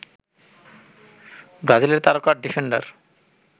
ব্রাজিলের তারকা ডিফেন্ডার